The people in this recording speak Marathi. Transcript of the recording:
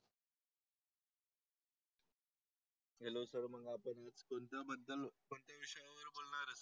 हॅलो सर मग आपण कोणत्या बद्दल कोणत्या विषयावर बोलणार आहात?